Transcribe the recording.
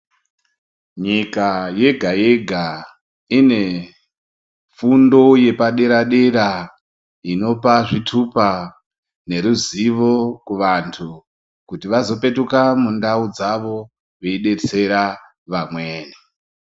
Nyika yega yega Ine fundo yepadera dera inopa zvitupa neruzivo kuvantu kuti vazopetuka mundau dzavo veidetsera vamweni